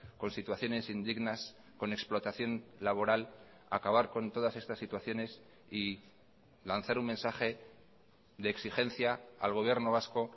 con situaciones indignas con explotación laboral acabar con todas estas situaciones y lanzar un mensaje de exigencia al gobierno vasco